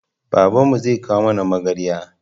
Babanmu zai kawo mana magarya